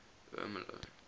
ermelo